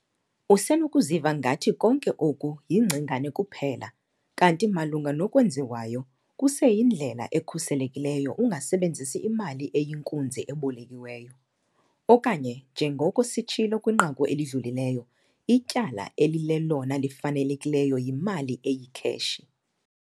Usenokuziva ngathi konke oku yingcingane kuphela. Kanti malunga nokwenziwayo, kuseyindlela ekhuselekileyo ungasebenzi imali eyinkunzi ebolekiweyo. Okanye, njengoko sitshilo kwinqaku elidlulileyo 'ityala elilelona lifanelekileyo yimali eyikheshi'.